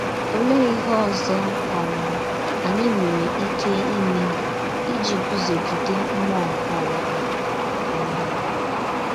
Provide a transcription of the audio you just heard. Olee ihe ọzọ um anyị nwere ike ime iji gụzogide mmụọ nke ụwa? um